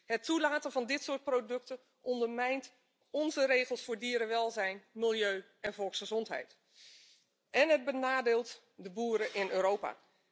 Het toelaten van dit soort producten ondermijnt onze regels voor dierenwelzijn, milieu en volksgezondheid en het benadeelt de boeren in Europa.